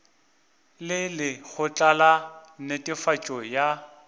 le lekgotla la netefatšo ya